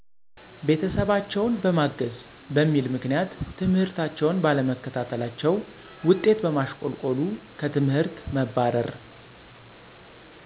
ቤተሰባቸውን በማገዝ በሚል ምክንያት ትምህርታቸውን ባለመከታታለቸው ውጤት በማሸቆልቆሉ ከትምህርት መባረር።